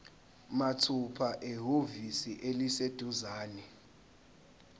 mathupha ehhovisi eliseduzane